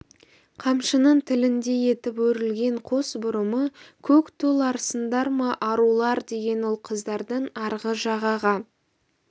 қамшының тіліндей етіп өрілген қос бұрымы көк тол- арсыңдар ма арулар деген ол қыздардың арғы жағаға